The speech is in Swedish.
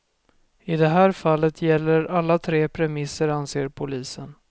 I det här fallet gäller alla tre premisserna anser polisen.